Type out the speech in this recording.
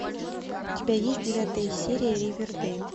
у тебя есть девятая серия ривердейл